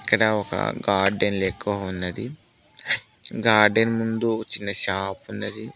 ఇక్కడ ఒక గార్డెన్ లెక్క ఉన్నది గార్డెన్ ముందు చిన్న షాప్ ఉన్నది.